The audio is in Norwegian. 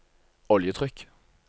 oljetrykk